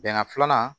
Bɛnkan filanan